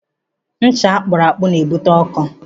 Ncha akpụrụ akpụ na-ebute ọkọ.